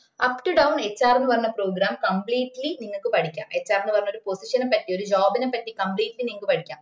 uh up to downHR ന്ന പറഞ്ഞ program completely നിങ്ങക്ക് പഠിക്ക HR ന് പറഞ്ഞ ഒരു position ന പറ്റി ഒരു job ന പറ്റി completely നിങ്ങക്ക് പഠിക്ക